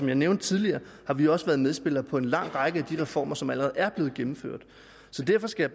jeg nævnte tidligere har vi også været medspillere på en lang række af de reformer som allerede er blevet gennemført så derfor skal